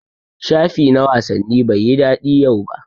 shafi na wasanni Bai yi dadi yau ba.